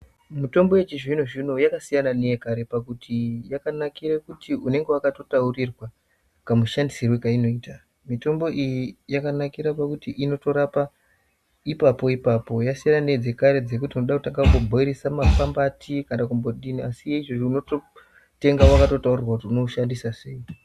Mutombo yechizvino-zvino yakasiyana neyekare pakuti yakanakire pakuti unenge wakatotaurirwa kamushandisirwe kainoitwa. Mitombo iyi yakanakira pakuti inotorapa ipapo ipapo yasiyana nedzekare dzekuti unoda kutanga kumbobhoirisa maphambati asi yeizvozvo unototenga wakatotaurirwa kuti unoshandisa sei.